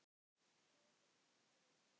Bregður líka fyrir í ljóði.